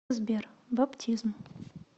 сбер баптизм